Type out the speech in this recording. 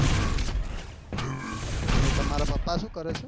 તો તમારા પાપા શું કરે છે.